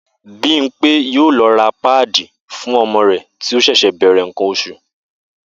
Bímpé yóò lo̩ ra páàdì fún o̩mo̩ rè̩ tí ó s̩è̩s̩è̩ bè̩rè̩ nǹkan os̩ù